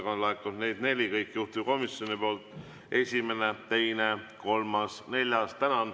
Neid on laekunud neli, juhtivkomisjoni poolt: esimene, teine, kolmas, neljas.